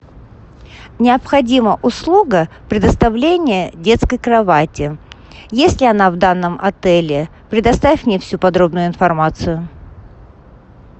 необходима услуга предоставления детской кровати есть ли она в данном отеле предоставь мне всю подробную информацию